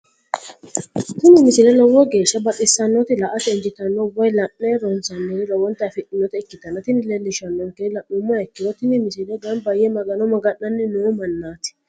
tini misile lowo geeshsha baxissannote la"ate injiitanno woy la'ne ronsannire lowote afidhinota ikkitanna tini leellishshannonkeri la'nummoha ikkiro tini misile gamba yee magano maga'nanni noo mannaati.